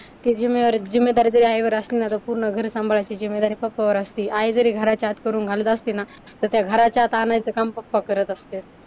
ती जिम्मेदारी तरी आईवर असणार पूर्ण घर सांभाळायची जिम्मेदारी पप्पावर असती. आई जरी घराच्या आत करून घालत असती ना तर त्या घराच्या आत आणायचं काम पप्पा करत असतात.